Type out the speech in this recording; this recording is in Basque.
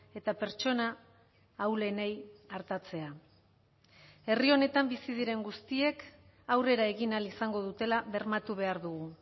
eta pertsona ahulenei artatzea herri honetan bizi diren guztiek aurrera egin ahal izango dutela bermatu behar dugu